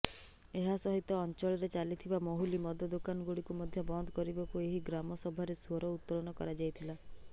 ଏହାସହିତ ଅଞ୍ଚଳରେ ଚାଲିଥିବା ମହୁଲି ମଦ ଦୋକାନଗୁଡ଼ିକୁ ମଧ୍ୟ ବନ୍ଦ କରିବାକୁ ଏହି ଗ୍ରାମସଭାରେ ସ୍ୱର ଉତ୍ତୋଳନ କରାଯାଇଥିଲା